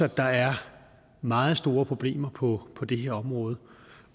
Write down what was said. at der er meget store problemer på på det her område